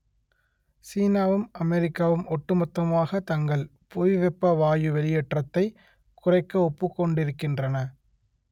சீனாவும் அமெரிக்காவும் ஒட்டுமொத்தமாக தங்கள் புவிவெப்ப வாயு வெளியேற்றத்தை குறைக்க ஒப்புக்கொண்டிருக்கின்றன